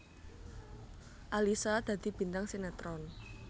Alyssa dadi bintang sinetron